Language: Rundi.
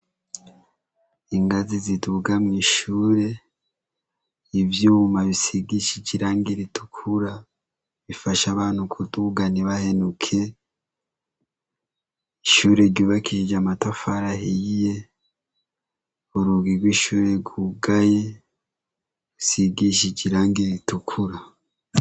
Ingazi ziduga mw'ishure, ivyuma bisigishije irangi ritukura bifasha abantu kuduga ntibahenuke. Ishure ryubakishije amatafari ahiye, urugi rw'ishure rwugaye rusigishije irangi ritukura.